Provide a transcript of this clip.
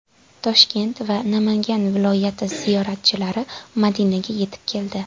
Toshkent va Namangan viloyati ziyoratchilari Madinaga yetib keldi.